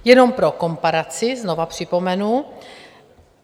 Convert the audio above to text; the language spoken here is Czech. Jenom pro komparaci, znovu připomenu.